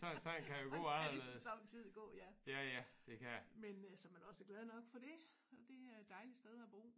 Sådan kan det somme tid gå ja. Men øh såmænd også glad nok for det og det er et dejligt sted at bo